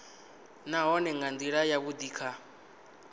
nahone nga ndila yavhudi kha